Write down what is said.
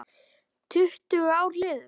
Tuttugu ár liðin.